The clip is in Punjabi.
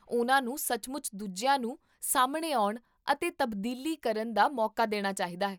ਉਹਨਾਂ ਨੂੰ ਸੱਚਮੁੱਚ ਦੂਜਿਆਂ ਨੂੰ ਸਾਹਮਣੇ ਆਉਣ ਅਤੇ ਤਬਦੀਲੀ ਕਰਨ ਦਾ ਮੌਕਾ ਦੇਣਾ ਚਾਹੀਦਾ ਹੈ